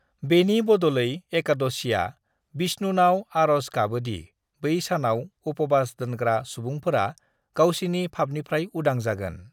"बेनि बद'लै, एकादशीआ बिष्णुनाव आर'ज गाबोदि बै सानाव उप'बास दोनग्रा सुबुंफोरा गावसिनि फाफनिफ्राय उदां जागोन।"